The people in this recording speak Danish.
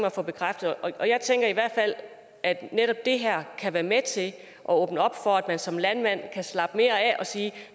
at få bekræftet jeg tænker i hvert fald at netop det her kan være med til at åbne op for at man som landmand kan slappe mere af og sige